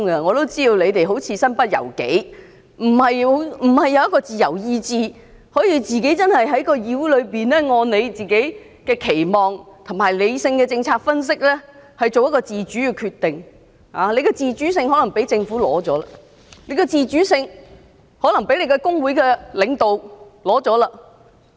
我都知道你們似乎是身不由己的，沒有自由意志能夠在議會內，按照自己的期望和理性的政策分析作出自主決定，你們的自主可能是被政府取走了，又或是被工會的領導取走了。